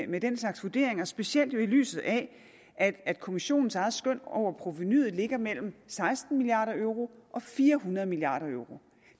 med den slags vurderinger specielt jo i lyset af at at kommissionens eget skøn over provenuet ligger mellem seksten milliard euro og fire hundrede milliard euro